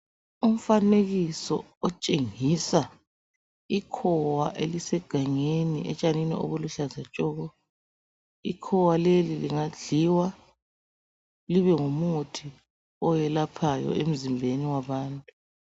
Umfanekiso otshengisa ikhowa elisegangeni, etshanini obuluhlaza tshoko. Ikhowa leli lingadliwa libe ngumuthi oyelaphayo emzimbeni wabantu.